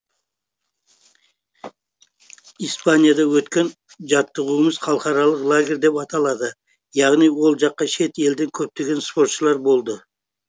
испанияда өткен жаттығуымыз халықаралық лагерь деп аталады яғни ол жаққа шет елден көптеген спортшылар болды